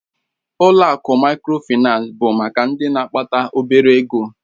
Ụlọ akụ Mikrofaịnsi bụ maka ndị na-akpata obere ego